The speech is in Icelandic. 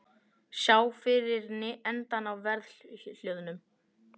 Sjá fyrir endann á verðhjöðnun